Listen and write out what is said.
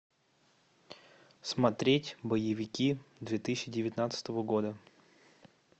смотреть боевики две тысячи девятнадцатого года